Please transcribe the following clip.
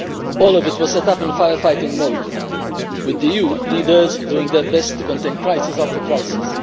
All of it was set up in fire fighting mode, with the EU leaders doing their best to contain crisis after crisis.